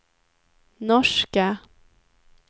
norska